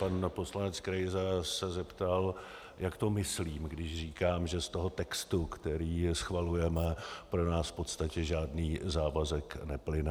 Pan poslanec Krejza se zeptal, jak to myslím, když říkám, že z toho textu, který schvalujeme, pro nás v podstatě žádný závazek neplyne.